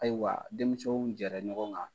Ayiwa denmisɛnw jɛɛrɛ ɲɔgɔn kan.